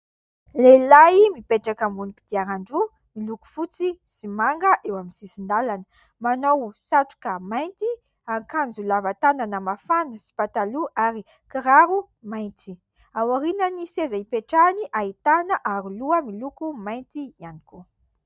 Lehilahy mipetraka ambony kodiaran-droa miloko fotsy sy manga eo amin'ny sisin-dalana manao satroka mainty, akanjo lava tanana mafana sy pataloha ary kiraro mainty. Ao aoriana ny seza hipetrahany, ahitana aro loha miloko mainty ihany koa.